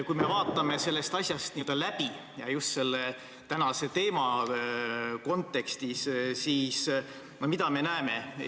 Kui me vaatame sellest asjast n-ö läbi ja just tänase teema kontekstis, siis mida me näeme?